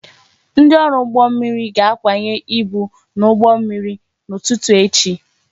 Ndị ọrụ ụgbọ mmiri ga-akwanye ibu n'ụgbọ mmiri n'ụtụtụ echi